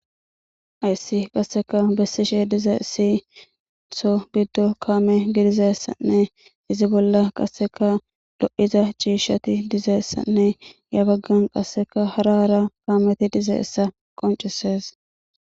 Ayssi qasseka bessishe diza isi itho biddo kaame gidizeessanne izi bolla qasseka lo'iza ciishshati dizeessanne ya baggan qasseka harara kaameti dize essa qoncisees.